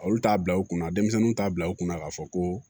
Olu t'a bila u kunna denmisɛnninw t'a bila u kunna k'a fɔ ko